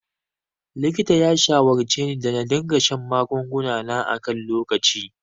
Likita ya shawarceni da na dinga shan magunguna na a kan lokaci.